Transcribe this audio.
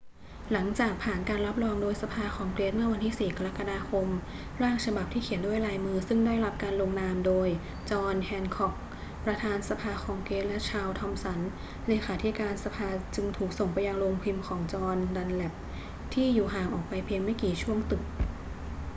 หลังจากผ่านการรับรองโดยสภาคองเกรสเมื่อวันที่ 4 กรกฎาคม ร่างฉบับที่เขียนด้วยลายมือซึ่งได้รับการลงนามโดยจอห์น แฮนค็อก ประธานสภาคองเกรสและชาร์ลส์ ทอมสัน เลขาธิการสภาจึงถูกส่งไปยังโรงพิมพ์ของจอห์น ดันแลปที่อยู่ห่างออกไปเพียงไม่กี่ช่วงตึก